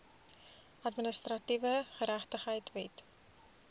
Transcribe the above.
administratiewe geregtigheid wet